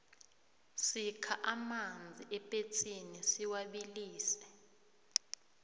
sikha amanzi epetsini siwabilise